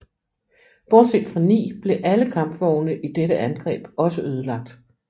Bortset fra ni blev alle kampvogne i dette angreb også ødelagt